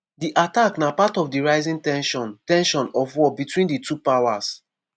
di attack na part of di rising ten sion ten sion of war between di two powers.